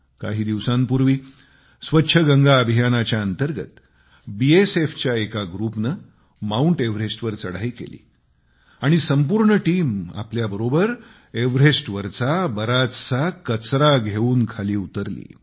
काही दिवसांपूर्वी स्वच्छ गंगा अभियानाच्या अंतर्गत BSFच्या एका ग्रुपने माउंट एव्हरेस्टवर चढाई केली आणि संपूर्ण टीम आपल्याबरोबर एव्हरेस्टवरचा बराचसा कचरा घेऊन खाली उतरली